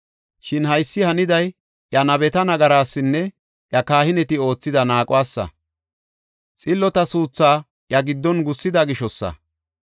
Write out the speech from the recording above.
Shin haysi haniday iya nabetinne nagarasinne iya kahineti oothida naaquwasa, xillota suuthaa iya giddon gussida gishosa.